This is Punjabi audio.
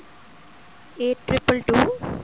eight triple two